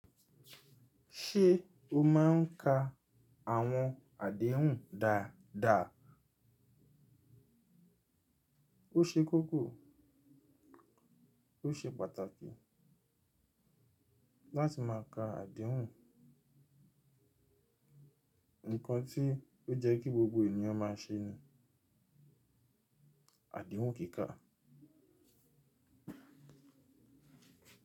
Ṣé o máà ń ka àwọn àdéhùn dáadáa? O ṣe kókó, o ṣe pàtàkì láti máa ka àdéhùn. Ǹkan tí ó jẹ́ kí gbogbo èèyàn máa ṣe ni àdéhùn kíkà.